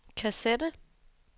kassette